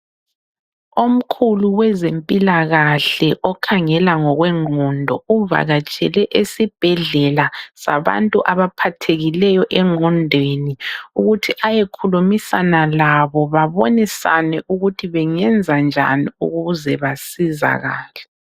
Omkhulu wezempilakahle okhangela ngokwengqondo uvakatshele esibhedlela sabantu abaphathekileyo engqondweni ukuthi ayekhulumisana labo babonisane ukuthi bengenzanjani ukuze basizakale.